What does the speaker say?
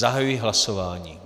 Zahajuji hlasování.